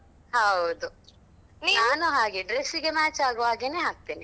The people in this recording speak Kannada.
ಹೌದು ನಾನು ಹಾಗೆ dress ಗೆ match ಆಗುವಾಗೆನೆ ಹಾಕ್ತೇನೆ.